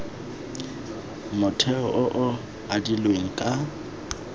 motheo o o adilweng ka